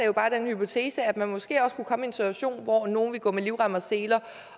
jo bare den hypotese at man måske også kunne komme i en situation hvor nogle ville gå med livrem og seler